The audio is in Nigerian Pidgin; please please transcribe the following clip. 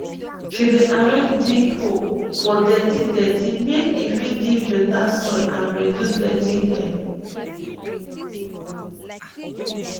she dey arrange dig hole for dirty dirty make e fit give beta soil and reduce dirty air